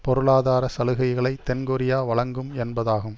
பொருளாதார சலுகைகளை தென்கொரியா வழங்கும் என்பதாகும்